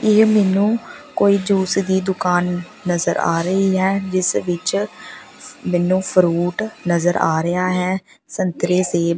ਇਹ ਮੈਨੂੰ ਕੋਈ ਜੂਸ ਦੀ ਦੁਕਾਨ ਨਜ਼ਰ ਆ ਰਹੀ ਹੈ ਜਿਸ ਵਿੱਚ ਮੈਨੂੰ ਫਰੂਟ ਨਜ਼ਰ ਆ ਰਿਹਾ ਹੈ ਸੰਤਰੇ ਸੇਬ।